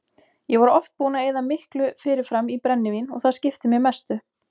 Ég var oft búinn að eyða miklu fyrirfram í brennivín og það skipti mig mestu.